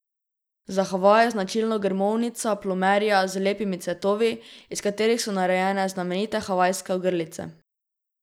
Za Havaje je značilna grmovnica plumerija z lepimi cvetovi, iz katerih so narejene znamenite havajske ogrlice.